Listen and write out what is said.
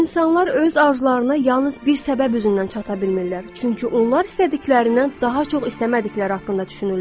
İnsanlar öz arzularına yalnız bir səbəb üzündən çata bilmirlər, çünki onlar istədiklərindən daha çox istəmədikləri haqqında düşünürlər.